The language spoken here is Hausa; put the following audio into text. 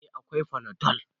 Eh, akwai fanadol